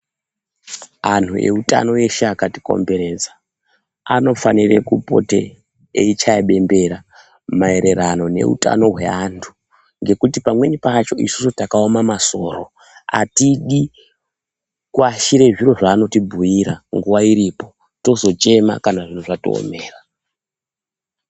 Anhu eutano eshe akatikomberedza anofanire kupote eyichaya bembera maererano neutano hwevantu ngekuti pamweni pacho isusu takaoma masoro atidi kuashira zviro zvaanotibhuyira nguwa iripo tozochema kana zviro zvatiomera